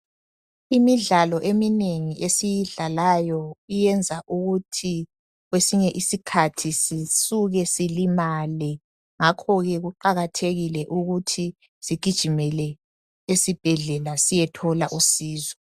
Imidlalo eminengi esiyidlalayo iyenza ukuthi kwesinye isikhathi sisuke silimale ngakho ke kuqakathekile ukuthi sigijimele esibhedlela siyethola usizo